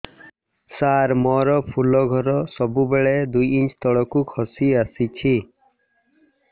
ସାର ମୋର ଫୁଲ ଘର ସବୁ ବେଳେ ଦୁଇ ଇଞ୍ଚ ତଳକୁ ଖସି ଆସିଛି